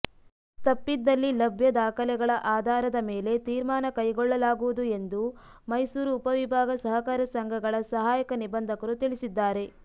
ತಪ್ಪಿದಲ್ಲಿ ಲಭ್ಯ ದಾಖಲೆಗಳ ಆಧಾರದ ಮೇಲೆ ತೀರ್ಮಾನ ಕೈಗೊಳ್ಳಲಾಗುವುದು ಎಂದು ಮೈಸೂರು ಉಪವಿಭಾಗ ಸಹಕಾರ ಸಂಘಗಳ ಸಹಾಯಕ ನಿಬಂಧಕರು ತಿಳಿಸಿದ್ದಾರೆ